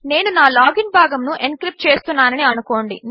నేనునాలాగిన్భాగమునుఎన్క్రిప్ట్చేస్తున్నాననిఅనుకోండి